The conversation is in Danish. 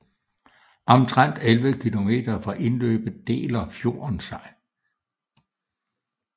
Omtrent 11 km fra indløbet deler fjorden sig